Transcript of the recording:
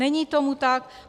Není tomu tak.